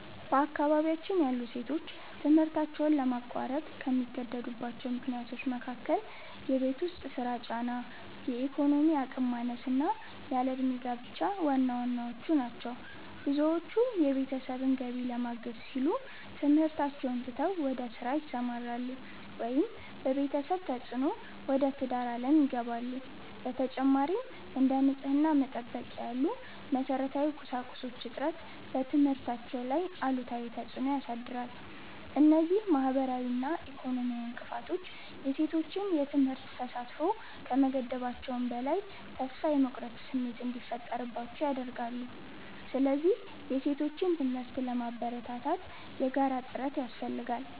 በአካባቢያችን ያሉ ሴቶች ትምህርታቸውን ለማቋረጥ ከሚገደዱባቸው ምክንያቶች መካከል የቤት ውስጥ ሥራ ጫና፣ የኢኮኖሚ አቅም ማነስና ያለ ዕድሜ ጋብቻ ዋናዎቹ ናቸው። ብዙዎቹ የቤተሰብን ገቢ ለማገዝ ሲሉ ትምህርታቸውን ትተው ወደ ሥራ ይሰማራሉ፤ ወይም በቤተሰብ ተፅዕኖ ወደ ትዳር ዓለም ይገባሉ። በተጨማሪም፥ እንደ ንጽሕና መጠበቂያ ያሉ መሠረታዊ ቁሳቁሶች እጥረት በትምህርታቸው ላይ አሉታዊ ተፅዕኖ ያሳድራል። እነዚህ ማኅበራዊና ኢኮኖሚያዊ እንቅፋቶች የሴቶችን የትምህርት ተሳትፎ ከመገደባቸውም በላይ፥ ተስፋ የመቁረጥ ስሜት እንዲፈጠርባቸው ያደርጋሉ። ስለዚህ የሴቶችን ትምህርት ለማበረታታት የጋራ ጥረት ያስፈልጋል።